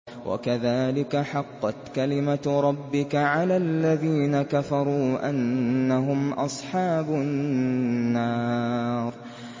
وَكَذَٰلِكَ حَقَّتْ كَلِمَتُ رَبِّكَ عَلَى الَّذِينَ كَفَرُوا أَنَّهُمْ أَصْحَابُ النَّارِ